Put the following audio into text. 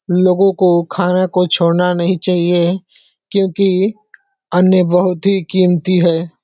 लोगों को खाना को छोड़ना नहीं चाहिए क्यूंकी अन्य बहुत ही कीमती है।